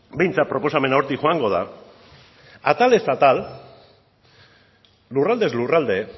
behintzat proposamena hortik joango da atalez atal lurraldez lurralde